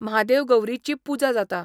म्हादेव गौरीची पुजा जाता.